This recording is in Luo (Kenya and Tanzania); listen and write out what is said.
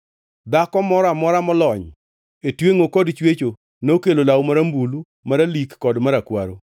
Dhako moro amora molony e twengʼo kod chwecho nokelo law marambulu, maralik kod marakwaro.